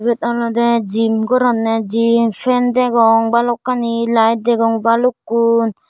ebot olode gym goronne gym fan degong balokkani layet degong balukkun.